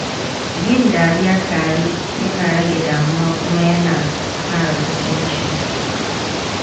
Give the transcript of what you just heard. Yin dariya tare yana rage damuwa kuma yana ƙara kusanci.